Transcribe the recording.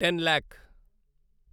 ten lakh